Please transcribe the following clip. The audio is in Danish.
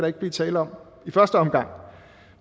ikke blive tale om i første omgang